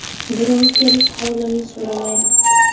Birov kelib holimni so‘ramayapti.